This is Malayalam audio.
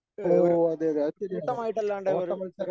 ഏഹ് ഒരു കൂട്ടമായിട്ട് അല്ലാണ്ട് ഒരു